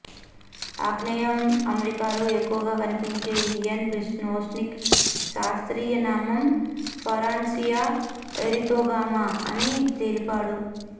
ఆగ్నేయ అమెరికాలో ఎక్కువగా కనిపించే ఈ రెయిన్ బో స్నేక్ శాస్త్రీయ నామం ఫరాన్సియా ఎరిత్రోగామ అని తెలిపాడు